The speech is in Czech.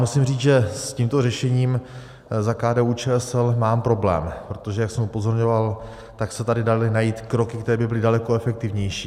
Musím říct, že s tímto řešením za KDU-ČSL mám problém, protože jak jsem upozorňoval, tak se tady daly najít kroky, které by byly daleko efektivnější.